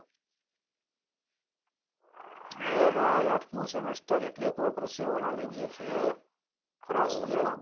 એ ભાઈ આઠમું semester એટલે પરસેવો લાવી દે છે ખરા શિયાળા માં